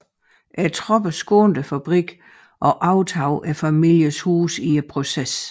Tropperne skånede fabrikken og overtog familiens hus i processen